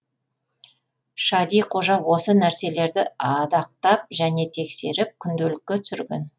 шади қожа осы нәрселерді адақтап және тексеріп күнделікке түсірген